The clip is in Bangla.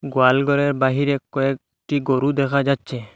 গোয়াল গরের বাহিরে কয়েকটি গরু দেখা যাচ্চে।